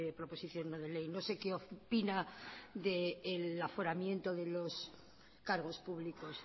proposición no de ley no sé qué opina del aforamiento de los cargos públicos